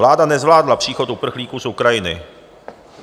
Vláda nezvládla příchod uprchlíků u Ukrajiny.